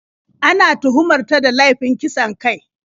Ana tuhumar ta da laifin kisan kai.